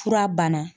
Fura bana